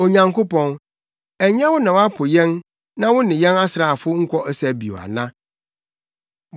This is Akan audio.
Onyankopɔn, ɛnyɛ wo na woapo yɛn na wo ne yɛn asraafo nkɔ ɔsa bio ana?